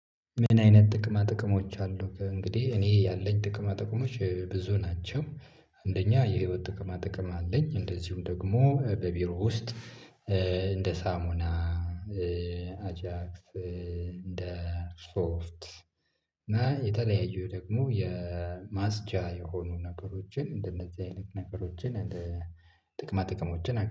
ምን አይነት ጥቅማ ጥቅሞች አሉ ከእንግዲህ እኔ ያለኝ ጥቅማ ጥቅሞች ብዙ ናቸው። አንደኛ የህይወት ጥቅማ ጥቅም አለኝ እንደዚሁም ደግሞ በቢሮ ውስጥ እንደ ሳሙና አጃክስ እንደ ሶፍት እና የተለያዩ ደግሞ የማስጫ የሆኑ ነገሮችን እንደነዚህ አይነት ነገሮችን እንደ ጥቅማ ጥቅሞችን